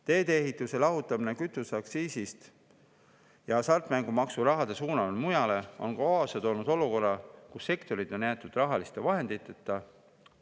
Teedeehituse lahutamine kütuseaktsiisist ja hasartmängumaksu raha suunamine mujale on kaasa toonud olukorra, kus sektorid on jäetud rahaliste vahenditeta.